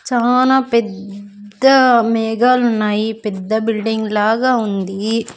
చానా పెద్ద మేఘాలు ఉన్నాయి పెద్ద బిల్డింగ్ లాగా ఉంది.